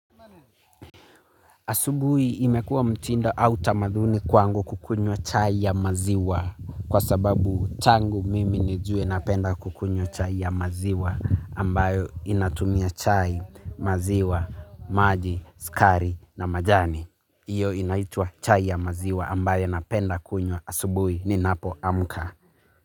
Asubui imekuwa mtindo au tamadhuni kwangu kukunywa chai ya maziwa. Kwa sababu tangu mimi nijue napenda kukunywa chai ya maziwa ambayo inatumia chai, maziwa, maji, sukari na majani. Iyo inaitua chai ya maziwa ambayo napenda kunywa asubui ninapoamka.